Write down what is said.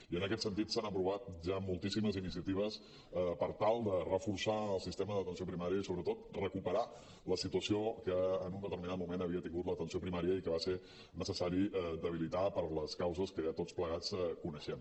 i en aquest sentit s’han aprovat ja moltíssimes iniciatives per tal de reforçar el sistema d’atenció primària i sobretot recuperar la situació que en un determinat moment havia tingut l’atenció primària i que va ser necessari debilitar per les causes que ja tots plegats coneixem